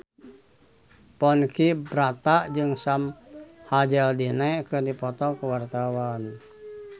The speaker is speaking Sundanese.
Ponky Brata jeung Sam Hazeldine keur dipoto ku wartawan